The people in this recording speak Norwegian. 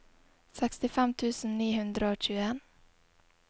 sekstifem tusen ni hundre og tjueen